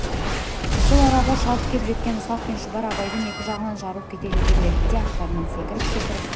сол арада шауып кеп жеткен ысқақ пен шұбар абайдың екі жағынан жарыла келіп жете берді де аттарынан секіріп-секіріп